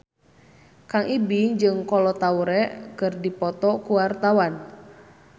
Kang Ibing jeung Kolo Taure keur dipoto ku wartawan